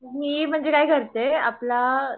मी म्हणजे काय करते आपला